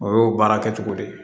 O y'o baara kɛcogo de ye